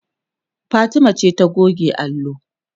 Fatima ce ta goge allo